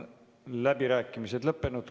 Läbirääkimised on lõppenud.